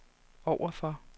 overfor